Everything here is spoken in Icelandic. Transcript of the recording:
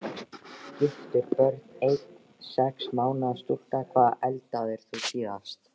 Giftur Börn: Ein sex mánaða stúlka Hvað eldaðir þú síðast?